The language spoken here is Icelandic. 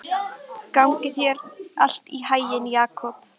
Gangi þér allt í haginn, Jakob.